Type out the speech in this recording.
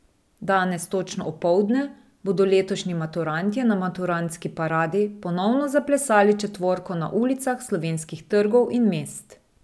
Danes točno opoldne bodo letošnji maturantje na Maturantski paradi ponovno zaplesali četvorko na ulicah slovenskih trgov in mest.